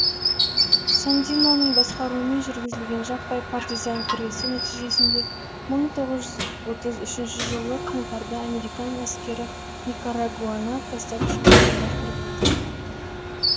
сандиноның басқаруымен жүргізілген жаппай партизан күресі нәтижесінде мың тоғыз жүз отыз үшінші жылы қаңтарда американ әскері никарагуаны тастап шығуға мәжбүр болды